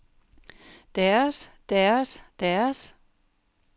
deres deres deres